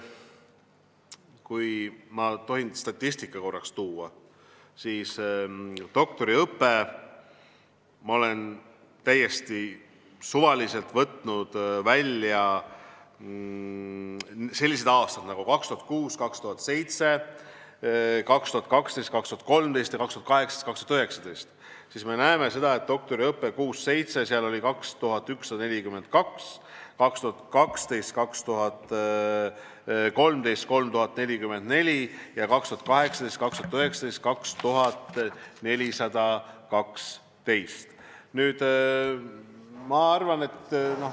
Kui ma tohin korraks statistikat välja tuua, siis 2006/2007 oli doktoriõppes 2142 inimest, 2012/2013 oli 3044 inimest ja 2018/2019 oli 2412 inimest.